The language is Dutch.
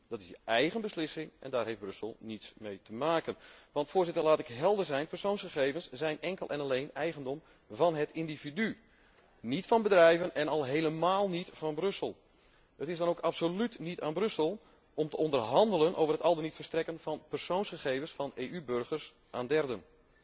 Dat is een eigen beslissing, waar Brussel niets mee te maken heeft. Want Voorzitter, laat ik helder zijn, persoonsgegevens zijn enkel en alleen eigendom van het individu, niet van bedrijven en al helemaal niet van Brussel! Het is dan ook absoluut niet aan Brussel om te onderhandelen over het al dan niet verstrekken van persoonsgegevens van EU burgers aan derden.